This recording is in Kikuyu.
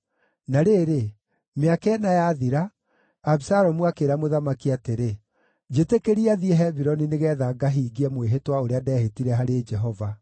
Na rĩrĩ, mĩaka ĩna yathira, Abisalomu akĩĩra mũthamaki atĩrĩ, “Njĩtĩkĩria thiĩ Hebironi nĩgeetha ngahingie mwĩhĩtwa ũrĩa ndeehĩtire harĩ Jehova.